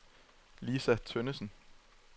Lisa Tønnesen